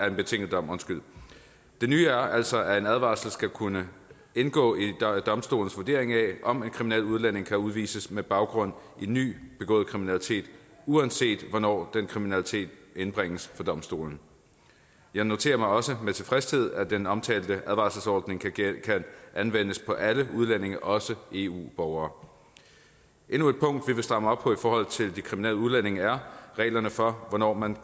en betinget dom det nye er altså at en advarsel skal kunne indgå i domstolens vurdering af om en kriminel udlænding kan udvises med baggrund i ny begået kriminalitet uanset hvornår den kriminalitet indbringes for domstolen jeg noterer mig også med tilfredshed at den omtalte advarselsordning kan anvendes på alle udlændinge også eu borgere endnu et punkt vi vil stramme op på i forhold til de kriminelle udlændinge er reglerne for hvornår man